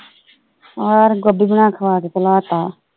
ਹੋਰ ਗੋਭੀ ਬਣਾ ਖਵਾ ਕੇ ਕਲਾਤਾ।